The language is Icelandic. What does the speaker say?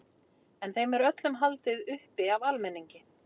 En þeim er öllum haldið uppi af almenningi.